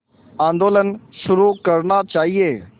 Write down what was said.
आंदोलन शुरू करना चाहिए